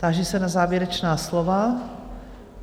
Táži se na závěrečná slova?